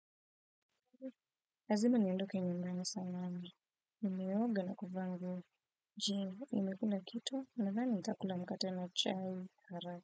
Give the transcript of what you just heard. Lazima niondoke nyumbani saa nane, nimeoga na kuvaa nguo. Jee, nimekula kitu nadhani ntakula mkate na chai haraka.